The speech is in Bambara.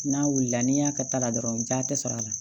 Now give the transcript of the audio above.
N'a wulila n'i y'a ka ta la dɔrɔn ja tɛ sɔrɔ a la